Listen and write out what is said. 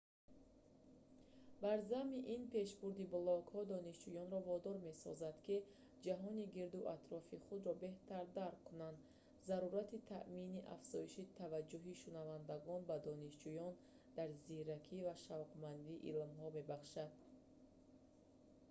бар замми ин пешбурди блогҳо донишҷӯёнро водор месозад ки ҷаҳони гирду атрофи худро беҳтар дарк кунанд. зарурати таъмини афзоиши таваҷҷуҳи шунавандагон ба донишҷӯён дар зиракӣ ва шавқмандӣ илҳом мебахшад тото соли 2004